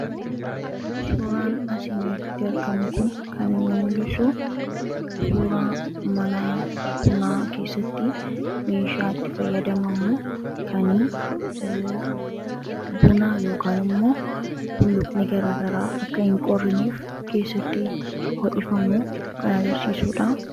Suuraan asii gadii kun kan inni mul'isu suuraa mana bunaa keessatti meeshaa itti fayyadamnu kan buna yookaan immoo bulluqni gara garaa akka hin qorrineef keessatti ho'ifamu kan agarsiisudha.